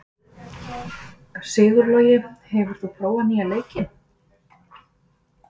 Sigurlogi, hefur þú prófað nýja leikinn?